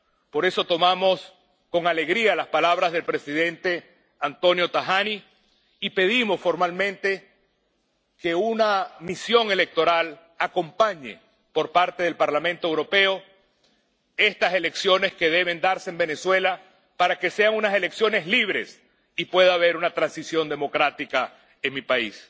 Por eso, tomamos con alegría las palabras del presidente Antonio Tajani y pedimos formalmente que una misión electoral del Parlamento Europeo acompañe estas elecciones que deben darse en Venezuela, para que sean unas elecciones libres y pueda haber una transición democrática en mi país.